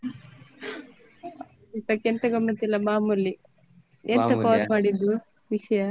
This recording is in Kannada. ಊಟಕ್ಕೆಂತ ಗಮ್ಮತ್ ಇಲ್ಲ ಮಾಮೂಲಿ ಎಂತ call ಮಾಡಿದ್ದು ವಿಷ್ಯಾ?